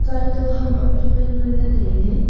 tsai to ham am chu wai ngan le taile.